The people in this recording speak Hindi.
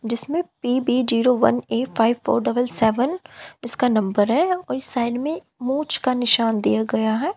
जिसमें P B zero one eight five four double seven इसका नंबर है वहीं साइड में मूंछ का निशान दिया गया है।